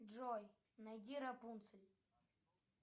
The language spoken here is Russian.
джой найди рапунцель